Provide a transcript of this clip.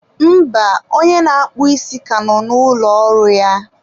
mba, onye na-akpụ ísí ka nọ na ụlọ ọrụ ya.